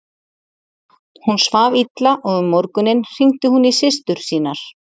Hún svaf illa og um morguninn hringdi hún í systur sínar.